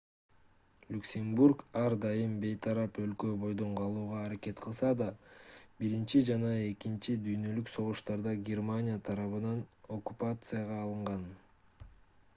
люксембург ар дайым бейтарап өлкө бойдон калууга аракет кылса да биринчи жана экинчи дүйнөлүк согуштарда германия тарабынан оккупацияга алынган